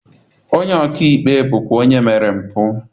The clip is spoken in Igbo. Onye ọka ikpe bụkwa onye mere mpụ